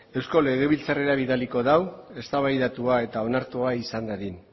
eusko legebiltzarrera bidaliko da eztabaidatuta eta onartua izan dadin